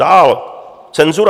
Dále cenzura.